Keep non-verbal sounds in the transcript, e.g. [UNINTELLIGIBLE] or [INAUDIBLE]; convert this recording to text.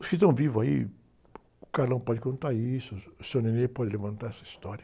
Os que estão vivos aí, o [UNINTELLIGIBLE] pode contar isso, o [UNINTELLIGIBLE] pode levantar essa história.